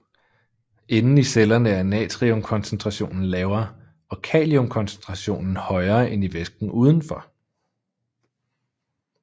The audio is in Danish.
Inden i cellerne er natriumkoncentrationen lavere og kaliumkoncentrationen højere end i væsken udenfor